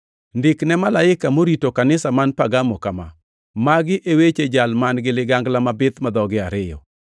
“Ndik ne malaika morito kanisa man Pergamo kama: Magi e weche Jal man-gi ligangla mabith ma dhoge ariyo: